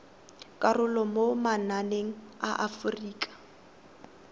karolo mo mananeng a aforika